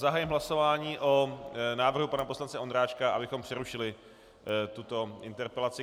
Zahajuji hlasování o návrhu pana poslance Ondráčka, abychom přerušili tuto interpelaci.